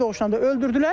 Təbii doğuşdan öldürdülər.